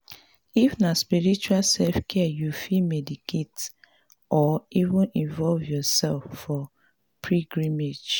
if na spiritual selfcare you fit meditate or even involve your self for pilgrimage